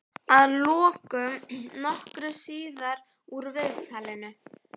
Að lokum, nokkru síðar úr viðtalinu.